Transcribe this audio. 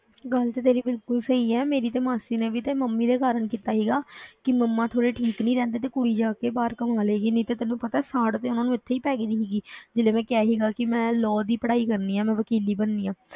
ਗੱਲ ਤੇ ਤੇਰੀ ਬਿਲਕੁਲ ਸਹੀ ਹੈ, ਮੇਰੀ ਤੇ ਮਾਸੀ ਨੇ ਵੀ ਤਾਂ ਮੰਮੀ ਦੇ ਕਾਰਨ ਕੀਤਾ ਸੀਗਾ ਕਿ ਮੰਮਾ ਥੋੜ੍ਹੇ ਠੀਕ ਨੀ ਰਹਿੰਦੇ ਤੇ ਕੁੜੀ ਜਾ ਕੇ ਬਾਹਰ ਕਮਾ ਲਏਗੀ, ਨਹੀਂ ਤੇ ਤੈਨੂੰ ਪਤਾ ਹੈ ਸਾੜ ਤੇ ਉਹਨਾਂ ਨੂੰ ਇੱਥੇ ਹੀ ਪੈ ਗਈ ਸੀ ਜਦੋਂ ਕਿਹਾ ਸੀਗਾ ਕਿ ਮੈਂ law ਦੀ ਪੜ੍ਹਾਈ ਕਰਨੀ ਹੈ ਮੈਂ ਵਕੀਲੀ ਬਣਨੀ ਹੈ,